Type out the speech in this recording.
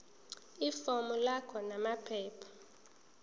ifomu lakho namaphepha